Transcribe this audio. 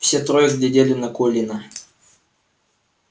все трое глядели на колина